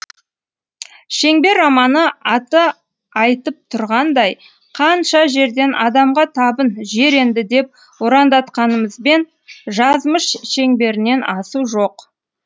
шеңбер романы аты айцтып тұрғанындай қанша жерден адамға табын жер енді деп ұрандатқанымызбен жазмыш шеңберінен асу жоқ